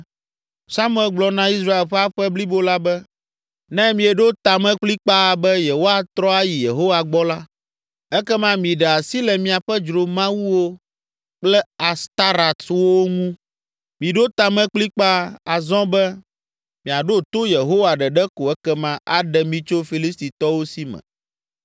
Samuel gblɔ na Israel ƒe aƒe blibo la be, “Ne mieɖo ta me kplikpaa be yewoatrɔ ayi Yehowa gbɔ la, ekema miɖe asi le miaƒe dzromawuwo kple Astarɔtwo ŋu. Miɖo ta me kplikpaa azɔ be miaɖo to Yehowa ɖeɖe ko ekema aɖe mi tso Filistitɔwo si me.”